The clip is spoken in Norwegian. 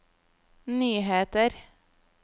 nyheter